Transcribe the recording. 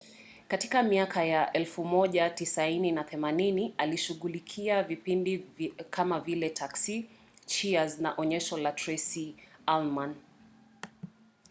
katika miaka ya 1980 alishughulikia vipindi kama vile taxi cheers na onyesho la tracy ullman